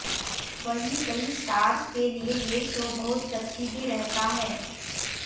वहीं कई स्टार्स के लिए ये शो बहुत लकी भी रहता है